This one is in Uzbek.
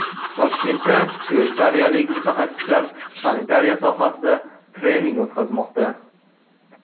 Toshkentda shveysariyalik mutaxassislar sanitariya sohasida trening o‘tkazmoqda.